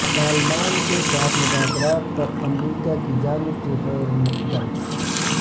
طالبان کے ساتھ مذاکرات پر امریکہ کی جانب سے خیرمقدم